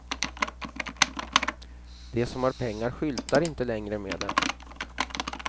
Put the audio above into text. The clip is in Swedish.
De som har pengar skyltar inte längre med det.